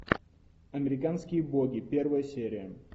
американские боги первая серия